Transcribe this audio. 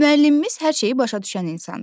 Müəllimimiz hər şeyi başa düşən insandır.